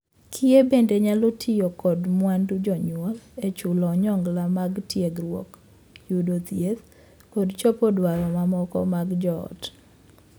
Kiye bende nyalo tiyo kod mwandu jonyuol e chulo onyongla mag tiegruok, yudo thieth, kod chopo dwaro mamoko mag joot.